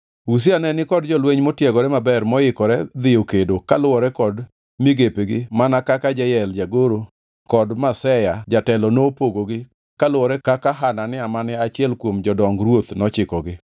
Uzia ne ni kod jolweny motiegore maber moikore dhiye kedo kaluwore kod migepegi mana kaka Jeyel jagoro kod Maseya jatelo nopogogi kaluwore kaka Hanania mane achiel kuom jodong ruoth nochikogi.